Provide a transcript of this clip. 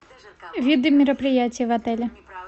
виды мероприятий в отеле